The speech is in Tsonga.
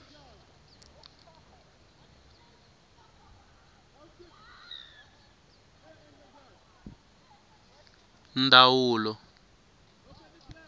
ndwawulo